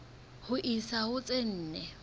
ho isa ho tse nne